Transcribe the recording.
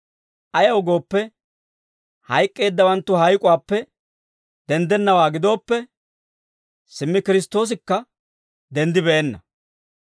Ayaw gooppe, hayk'k'eeddawanttu hayk'uwaappe denddennawaa gidooppe, simmi Kiristtoosikka denddibeenna.